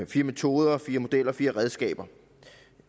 fire metoder fire modeller fire redskaber